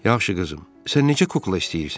Yaxşı qızım, sən neçə kukla istəyirsən?